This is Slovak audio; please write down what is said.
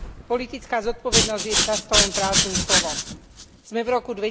Politická zodpovednosť je často len prázdnym slovom. Sme v roku